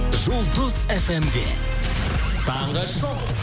жұлдыз фм де таңғы шоу